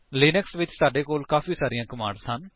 Linux ਵਿੱਚ ਸਾਡੇ ਕੋਲ ਕਾਫ਼ੀ ਸਾਰੀਆਂ ਕਮਾਂਡਸ ਹਨ